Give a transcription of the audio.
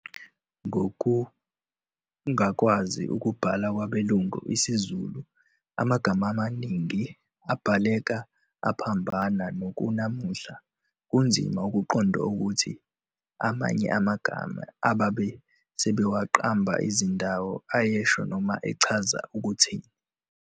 Ngokungakwazi ukubhala kwabelungu isiZulu amagama amaningi abhaleka aphambana nokunamuhla kunzima ukuqonqa ukuthi amanye amagama ababe sebewaqamba izindawo ayesho noma echaza ukuthini.